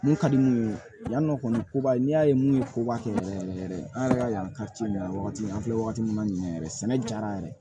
Mun ka di minnu ye yan nɔ kɔni koba ye n'i y'a ye mun ye koba kɛ yɛrɛ yɛrɛ an yɛrɛ ka yan ka ci ninnu an filɛ wagati min na ɲinɛ yɛrɛ sɛnɛ ja yɛrɛ